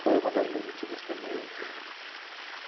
Foi uma das demitidas também.